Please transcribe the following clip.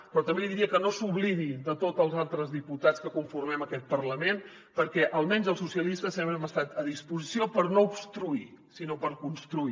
però també li diria que no s’oblidi de tots els altres diputats que conformem aquest parlament perquè almenys els socialistes sempre hem estat a disposició per no obstruir sinó per construir